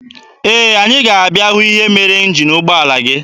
Ee, anyị ga-abịa hụ ihe mere njin ụgbọala gị.